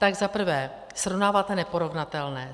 Za prvé, srovnáváte neporovnatelné.